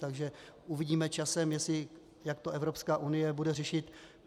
Takže uvidíme časem, jak to Evropská unie bude řešit.